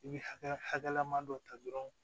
I bɛ hakɛlaman dɔ ta dɔrɔn